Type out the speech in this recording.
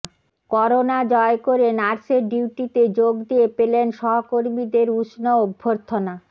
corona জয় করে নার্সের ডিউটিতে যোগ দিয়ে পেলেন সহকর্মীদের উষ্ণ অভ্যর্থনা